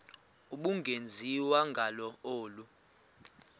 ubungenziwa ngalo olu